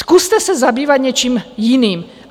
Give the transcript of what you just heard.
Zkuste se zabývat něčím jiným!